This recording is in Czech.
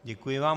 Děkuji vám.